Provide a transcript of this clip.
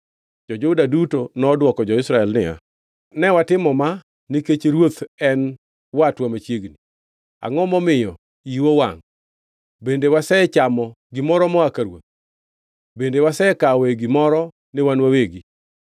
Jo-Juda duto nodwoko jo-Israel niya, “Ne watimo ma nikech ruoth en watwa machiegni. Angʼo momiyo iu owangʼ. Bende wasechamo gimoro moa ka ruoth? Bende wasekawoe gimoro ni wan wawegi?”